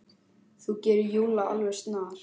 Þú gerir Lúlla alveg snar,